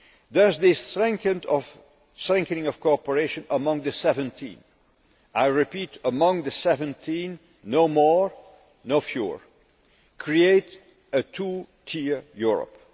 Does this strengthening of cooperation among the 17 I repeat among the 17, no more, no fewer create a two tier Europe?